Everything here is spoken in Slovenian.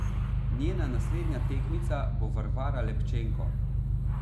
Njena naslednja tekmica bo Varvara Lepčenko.